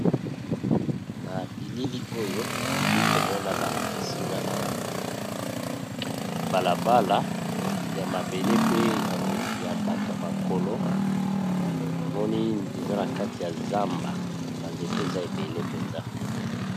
Na bilili oyo nali komona balakisinga awa balabala ya mabele pe ya bato ya makolo namoni eza na kati ya zamba banzete eza ebele mpenza.